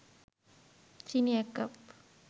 চিনি ১ কাপ